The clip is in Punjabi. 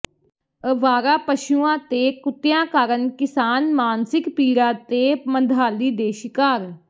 ਅਵਾਰਾ ਪਸ਼ੂਆਂ ਤੇ ਕੁੱਤਿਆਂ ਕਾਰਨ ਕਿਸਾਨ ਮਾਨਸਿਕ ਪੀੜਾ ਤੇ ਮੰਦਹਾਲੀ ਦੇ ਸ਼ਿਕਾਰ